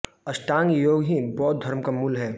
अष्टांग योग ही बौद्ध धर्म का मूल है